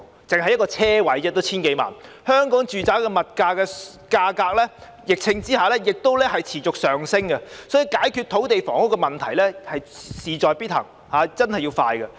只是一個車位也要 1,000 多萬元，香港住宅物業的價格在疫情下仍然持續上升，所以解決土地和房屋問題事在必行，而且要加快進行。